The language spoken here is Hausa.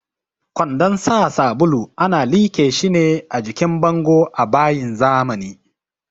Kwandon sa sabulu ana liƙe shi ne a jikin bango a bayin zamani.